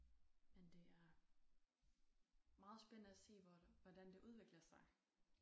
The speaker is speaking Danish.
Men det er meget spændende at se hvor hvordan det udvikler sig